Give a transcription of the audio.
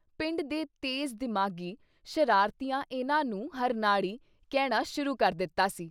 ਪਿੰਡ ਦੇ ਤੇਜ਼ ਦਿਮਾਗੀ ਸ਼ਰਾਰਤੀਆਂ ਇਨ੍ਹਾਂ ਨੂੰ “ਹਰਨਾੜੀ ” ਕਹਿਣਾ ਸ਼ੁਰੂ ਕਰ ਦਿੱਤਾ ਸੀ।